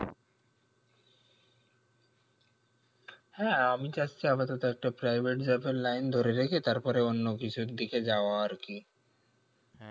হ্যাঁ আমি চাচ্ছি আপাতত একটা private job এর line ধরে রেখে তারপরে অন্য কিছুর দিকে যাওয়া আর কি